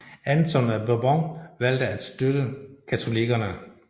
Anton af Bourbon valgte at støtte katolikkerne